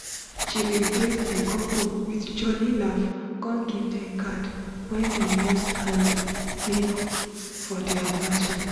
she bin greet di couple with jolly laf con give dem card wen dem use hand make for di annivasary.